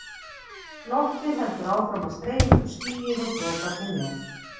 Loftið heldur áfram að streyma upp skýið og droparnir með.